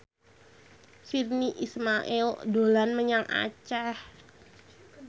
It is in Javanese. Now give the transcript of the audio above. Virnie Ismail dolan menyang Aceh